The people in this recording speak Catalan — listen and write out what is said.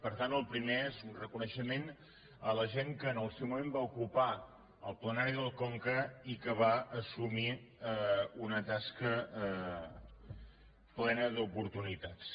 per tant el primer és un reconeixement a la gent que en el seu moment va ocupar el plenari del conca i que va assumir una tasca plena d’oportunitats